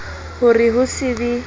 ho re ho se be